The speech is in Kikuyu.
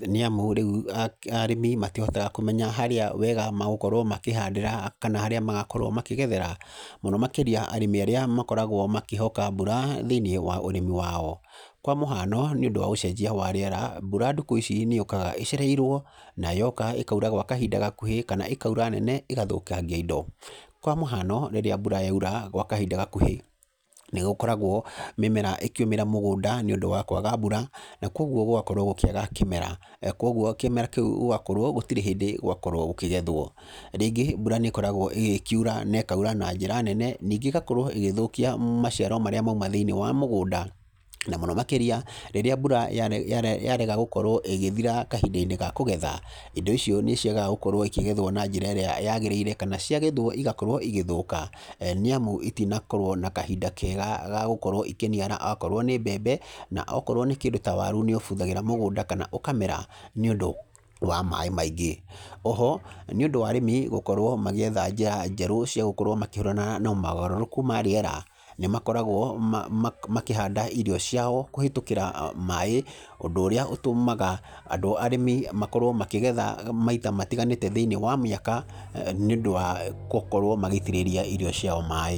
Nĩ amu rĩu arĩmi matihotaga kũmenya harĩa wega magũkorwo makĩhandĩra kana harĩa magakorwo makĩgethera. Mũno makĩria arĩmi arĩa makoragwo makĩhoka mbura thĩiniĩ wa ũrĩmi wao. Kwa mũhano, nĩ ũndũ wa ũcenjia wa rĩera, mbura ndukũ ici nĩ yũkaga ĩcereirwo, na yoka ĩkaura gwa kahinda gakuhĩ, kana ĩkaura nene ĩgathũkangia indo. Kwa mũhano, rĩrĩa mbura yaura gwa kahinda gakuhĩ, nĩ gũkoragwo mĩmera ĩkĩũmĩra mũgũnda nĩ ũndũ wa kwaga mbura, na kũguo gũgakorwo gũkĩaga kĩmera. Kũguo kĩmera kĩu gũgakorwo gũtirĩ hĩndĩ gwakorwo gũkĩgethwo. Rĩngĩ, mbura nĩ ĩkoragwo ĩgĩkiura na ĩkaura na njĩra nene, ningĩ ĩgakorwo ĩgĩthũkia maciaro marĩa mauma thĩiniĩ wa mũgũnda, na mũno makĩria rĩrĩa mbura yarega gũkorwo ĩgĩthira kahinda-inĩ ga kũgetha. Indo icio nĩ ciagaga gũkorwo ikĩgethwo na njĩra ĩrĩa yagĩrĩire, kana ciagethwo igakorwo igĩthũka. Nĩ amu itinakorwo na kahinda kega ga gũkorwo ikĩniara okorwo nĩ mbembe, na okorwo nĩ kĩndũ ta waru nĩ ũbuthagĩra mũgũnda kana ũkamera nĩ ũndũ wa maĩ maingĩ. Oho, nĩ ũndũ wa arĩmi gũkorwo magĩetha njĩra njerũ cia gũkorwo makĩhũrana na mogarũrũku ma rĩera, nĩ makoragwo makĩhanda irio ciao kũhĩtũkĩra maĩ, ũndũ ũrĩa ũtũmaga andũ arĩmi makorwo makĩgetha maita matiganĩte thĩiniĩ wa mĩaka, nĩ ũndũ wa gũkorwo magĩitĩrĩria irio ciao maĩ.